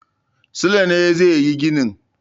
Sule ne zai yi ginin.